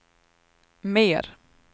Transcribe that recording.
mer